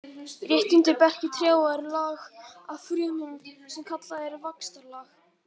Rétt undir berki trjáa er lag af frumum sem kallað er vaxtarlag.